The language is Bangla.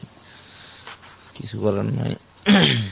কিছু বলার নাই